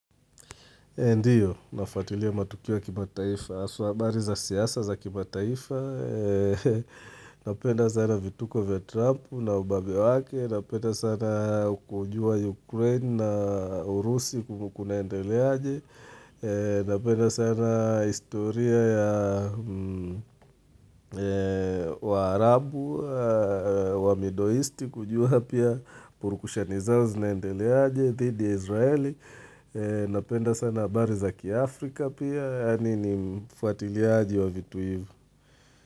Ndiyo, nafuatilia matukio ya kimataifa, haswa habari za siasa za kimataifa, napenda sana vituko vya Trump na ubabe wake, napenda sana kujua Ukraine na Urusi kumekuwa kunandeleaje, napenda sana historia ya waarabu, wamidoisti kujua pia purukushani zao zinaendeleaje, dhidi Israeli, Napenda sana habari za kiAfrika pia Yaani ni mfuatiliaji wa vitu hivi.